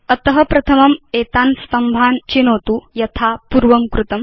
अत प्रथमं एतान् स्तम्भान् चिनोतु यथा पूर्वं कृतम्